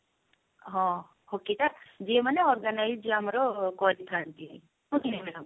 ହଁ hockey ଟା ଯେଉଁ ମାନେ organize ଯିଏ ଆମର କରିଥାନ୍ତି